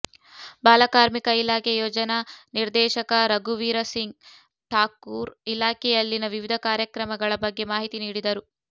ಬಾಲ ಕಾರ್ಮಿಕ ಇಲಾಖೆ ಯೋಜನಾ ನಿರ್ದೇಶಕ ರಘುವೀರಸಿಂಗ್ ಠಾಕೂರ್ ಇಲಾಖೆಯಲ್ಲಿನ ವಿವಿಧ ಕಾರ್ಯಕ್ರಮಗಳ ಬಗ್ಗೆ ಮಾಹಿತಿ ನೀಡಿದರು